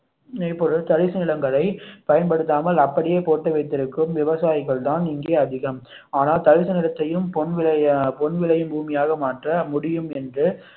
நினைப்போடு தரிசு நிலங்களை பயன்படுத்தாமல் அப்படியே போட்டு வைத்து இருக்கும் விவசாயிகள் தான் இங்கே அதிகம் ஆனால் தரிசனத்தை பொன் விளையும் பூமியாக மாற்ற முடியும் என்று